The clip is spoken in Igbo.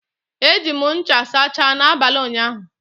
Eji m ncha sachaa n'abalị ụnyaahụ.